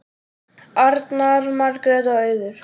Arnar, Margrét og Auður.